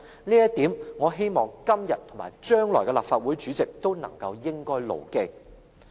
這一點，我希望今天和將來的立法會主席都應該牢記。